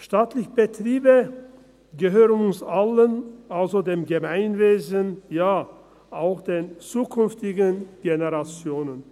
Staatliche Betriebe gehören uns allen, also dem Gemeinwesen und ja, auch den zukünftigen Generationen.